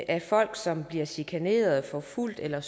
af folk som bliver chikaneret forfulgt eller